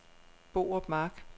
Borup Mark